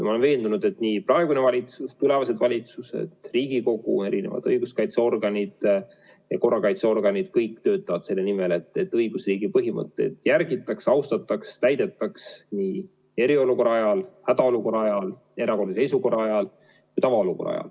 Ma olen veendunud, et praegune valitsus, tulevased valitsused, Riigikogu, õiguskaitseorganid ja korrakaitseorganid – kõik töötavad selle nimel, et õigusriigi põhimõtteid järgitaks, austataks, täidetaks nii eriolukorra ajal, hädaolukorra ajal, erakorralise seisukorra ajal kui ka tavaolukorras.